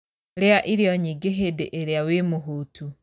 Rĩa irio nyingĩhĩndĩĩrĩa wĩmũhũtu.